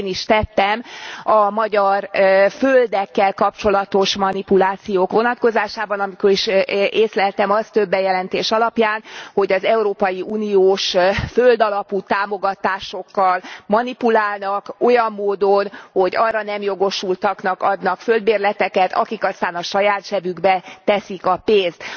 Ahogy én is tettem a magyar földekkel kapcsolatos manipulációk vonatkozásában, amikor is észleltem azt több bejelentés alapján, hogy az európai uniós földalapú támogatásokkal manipulálnak olyan módon, hogy arra nem jogosultaknak adnak földbérleteket, akik aztán a saját zsebükbe teszik a pénzt.